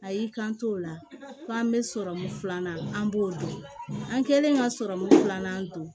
A y'i kan to o la ko an bɛ sɔrɔmu filanan an b'o dun an kɛlen ka filanan don